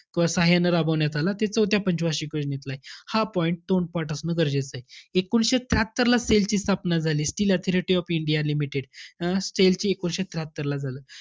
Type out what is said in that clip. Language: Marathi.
क~ साहाय्याने रबावण्यात आला. ते चौथ्या पंच वार्षिक योजनेतलंय. हा point तोंडपाठ असणं गरजेचंय. एकोणिसशे त्र्याहात्तरला SAIL ची स्थापना झाली. Steel Authority of India Limited. अं SAIL चं एकोणीशे त्र्याहात्तरला झालं.